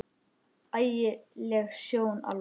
Ægi leg sjón alveg.